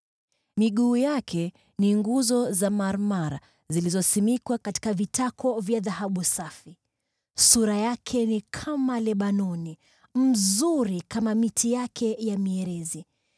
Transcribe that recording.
Miguu yake ni nguzo za marmar zilizosimikwa katika vitako vya dhahabu safi. Sura yake ni kama Lebanoni, bora kama miti yake ya mierezi.